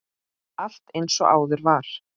Allt eins og áður var.